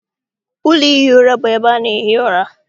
Ụlọ ihi ura bụ ebe ana ehi ụra.